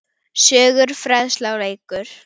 Söngur, fræðsla og leikur.